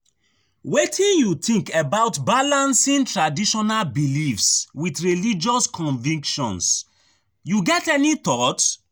Wetin you think about balancing traditional beliefs with religious convictions, you get any thought?